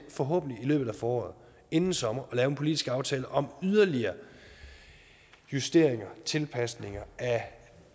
forhåbentlig i løbet af foråret og inden sommerferien politisk aftale om yderligere justeringer og tilpasninger af